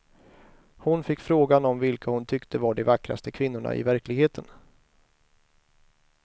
Hon fick frågan om vilka hon tyckte var de vackraste kvinnorna i verkligheten.